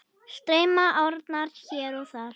Streyma árnar hér og þar.